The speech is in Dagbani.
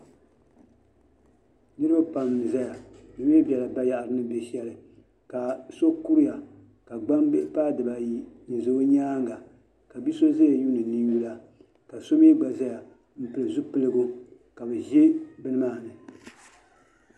Niriba pam n-zaya bɛ mi bela bayaɣiti ni be shɛli ka so kuriya ka gbambihi paai dibaayi n-za o nyaaŋga ka bi' so zaya yuuni ninyula ka so mi gba zaya m-pili zupiligu ka bɛ za bini maa ni.